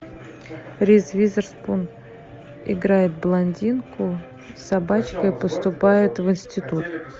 риз уизерспун играет блондинку с собачкой поступает в институт